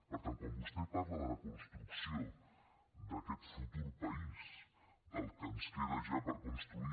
per tant quan vostè parla de la construcció d’aquest futur país del que ens queda ja per construir